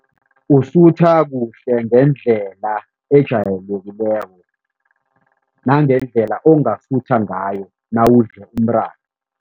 Usutha kuhle ngendlela ejayelekileko nangendlela ongasutha ngayo nawudle umratha.